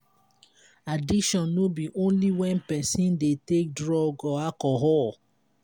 addiction no be only when person dey take drug or alcohol